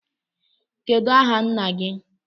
Kedụ aha nna gị?